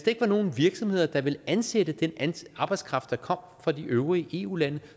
ikke var nogen virksomheder der ville ansætte den arbejdskraft der kom fra de øvrige eu lande